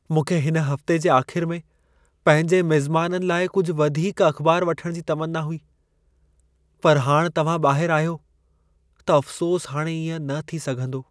मूंखे हिन हफ़्ते जे आख़िर में पंहिंजे मिज़माननि लाइ कुझु वधीक अख़बार वठण जी तमन्ना हुई। पर हाणि तव्हां ॿाहरि आहियो, त अफ़सोसु हाणे इएं न थी सघंदो।